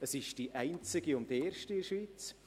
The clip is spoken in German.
Es ist die einzige und erste in der Schweiz.